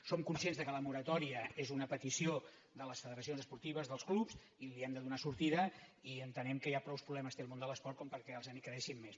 som conscients que la moratòria és una petició de les federacions esportives dels clubs hi hem de do·nar sortida i entenem que ja prou problemes té el món de l’esport perquè els en creem més